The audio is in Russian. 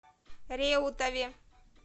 реутове